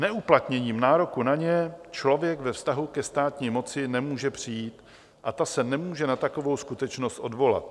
Neuplatněním nároku o ně člověk ve vztahu ke státní moci nemůže přijít a ta se nemůže na takovou skutečnost odvolat.